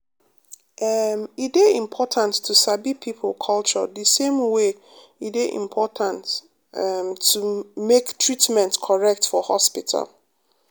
em e dey important to sabi people culture the same way e dey important em make treatment correct for hospital.